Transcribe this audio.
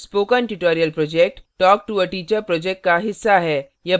spoken tutorial project talktoa teacher project का हिस्सा है